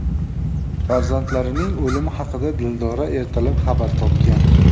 Farzandlarining o‘limi haqida Dildora ertalab xabar topgan.